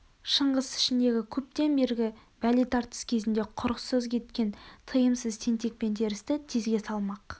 шыңғыс ішіндегі көптен бергі бәле тартыс кезінде құрықсыз кеткен тыйымсыз тентек пен терісті тезге салмақ